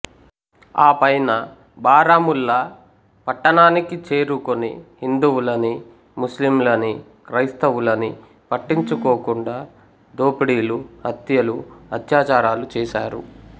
ఆపైన బారాముల్లా పట్టణానికి చేరుకుని హిందువులనీ ముస్లింలనీ క్రైస్తవులనీ పట్టించుకోకుండా దోపిడీలు హత్యలు అత్యాచారాలు చేశారు